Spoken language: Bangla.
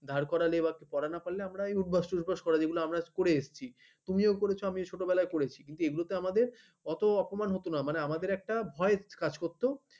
দাঁড় করালে এবার পড়া না করলে উঠবস ঠোট বোস করা যেগুলো আমরা করে এসেছি তুমিও করেছ আমিও ছোটবেলায় করেছি কিন্তু এগুলো আমাদের এত অপমান হত না মানে আমাদের একটা ভয় কাজ করতো